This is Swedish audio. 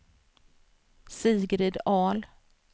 Sigrid Ahl